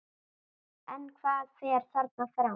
En hvað fer þarna fram?